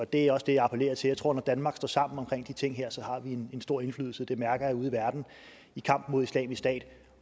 det er også det jeg appellerer til jeg tror at når danmark står sammen omkring de ting her har vi en stor indflydelse det mærker jeg ude i verden i kampen mod islamisk stat